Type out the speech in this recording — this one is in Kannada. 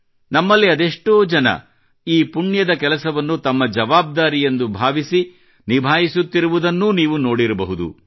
ನಮ್ಮಲ್ಲಿ ಅದೆಷ್ಟೋ ಜನ ಈ ಪುಣ್ಯದ ಕೆಲಸವನ್ನು ತಮ್ಮ ಜವಾಬ್ದಾರಿಯೆಂದು ಭಾವಿಸಿ ನಿಭಾಯಿಸುತ್ತಿರುವುದನ್ನ್ನು ನೀವೂ ನೋಡಿರಬಹುದು